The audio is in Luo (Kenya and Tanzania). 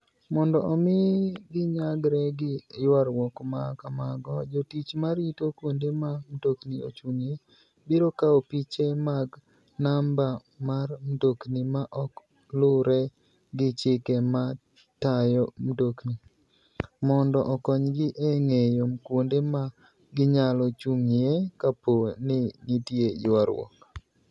Mondo omi ginyagre gi ywaruok ma kamago, jotich ma rito kuonde ma mtokni ochung'ie, biro kawo piche mag namba mar mtokni ma ok luwre gi chike ma tayo mtokni, mondo okonygi e ng'eyo kuonde ma ginyalo chung'ie kapo ni nitie ywaruok.